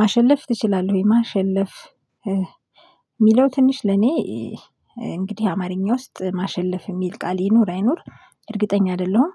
ማሸለፍ ትችላለህ ወይ ማሸለፍ? የሚለው ትንሽ ለኔ እንግዲህ አማርኛ ውስጥ ማሸለፍ የሚል ቃል ይኑር አይኑር እርግጠኛ አይደለሁም።